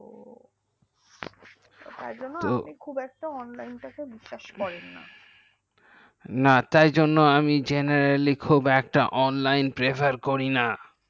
তার জন্য আমি খুব একটা online কে বিশ্বাস করিনা তাই জন্য আমি generally খুব online prefer করিনা